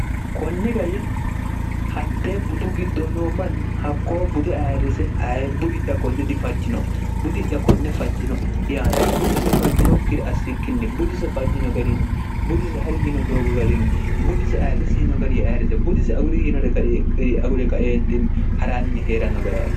kunni gariinni hakte budu giddo noo manni hakkoo bute ayirrise aye budi'ya konne difajjino budi'ya konne fajjino yaanni budise fajjinokkiri assikkinni budise fajjino garinni budisi ha'ryino doogo garinni budisi ayirresi yino gari ye ayirrise budisi aguri yinore gari agure kaeentinni ha'ranni hee'ranno gariaarri